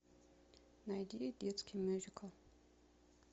найди детский мюзикл